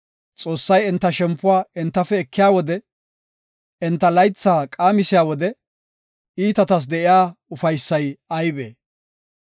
Xoossay enta shempuwa entafe ekiya wode, enta laytha qaamisiya wode, iitatas de7iya ufaysay aybee?